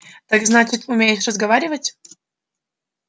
так значит умеешь разговаривать